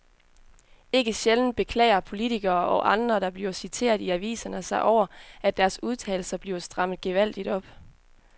Ikke sjældent beklager politikere og andre, der bliver citeret i aviserne sig over, at deres udtalelser bliver strammet gevaldigt op.